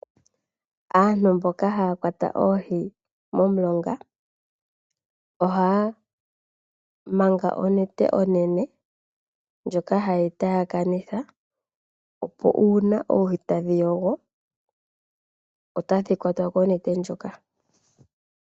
Aantu mboka haya kwata oohi momulonga ohaya manga onete onene ndjoka ha yeyi taakanitha opo uuna oohi tadhi yogo otadhi kwatwa konete ndjoka.